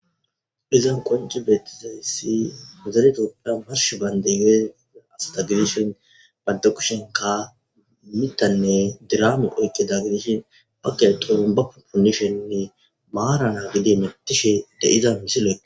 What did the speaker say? Izan qoncci beeththizayssi zale thoophphiyan marsh baynddee giyo astha gidishen banththe kushenkka miththanne diraame oyqqeda gidishen baggay xurumbba punnisheninne maarara gede hemethishe de7iza misilekko.